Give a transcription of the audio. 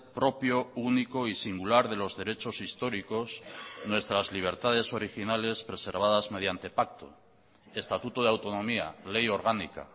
propio único y singular de los derechos históricos nuestras libertades originales preservadas mediante pacto estatuto de autonomía ley orgánica